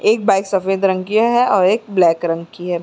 एक बाइक सफ़ेद रंग की है और एक ब्लैक रंग की है।